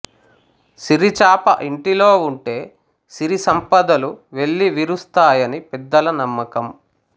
సిరిచాప ఇంటిలో ఉంటే సిరి సంపదలు వెల్లి విరుస్తాయని పెద్దల నమ్మకం